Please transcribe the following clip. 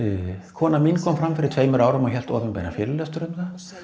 kona mín kom fram fyrir tveimur árum og hélt opinberan fyrirlestur um það